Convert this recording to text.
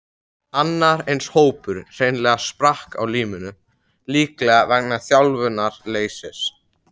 Annar eins hópur hreinlega sprakk á limminu, líklega vegna þjálfunarleysis.